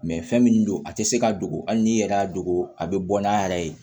fɛn min don a tɛ se ka dogo hali n'i yɛrɛ y'a dogo a bɛ bɔ n'a yɛrɛ ye